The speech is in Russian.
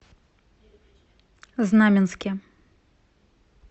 знаменске